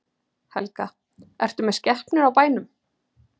Helga: Ertu með skepnur á bænum?